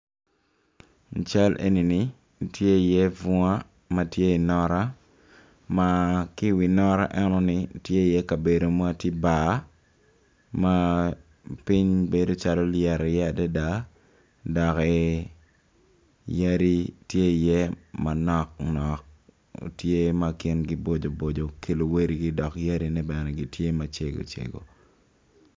I cal enini tye iye bunga ma tye inota ma ki iwi nota enoni tye iye kabedo ma tye bar ma piny bedo calo nlyet iye adida doki yadi tye iye manok nok tye ma gingi boco boco ki luwotgi dok yadine bene tye macego cego.